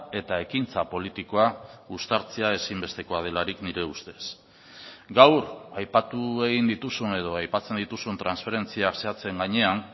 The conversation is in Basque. eta ekintza politikoa uztartzea ezinbestekoa delarik nire ustez gaur aipatu egin dituzun edo aipatzen dituzun transferentzia zehatzen gainean